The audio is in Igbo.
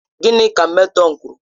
Gịnị ka matron kwuru?